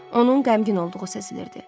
Onun qəmgin olduğu səslənirdi.